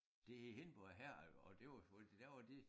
Det Hindborg Herred og det var fordi der var de